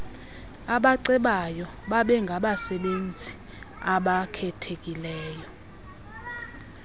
abacebayo babengabasebenzi abakhethekileyo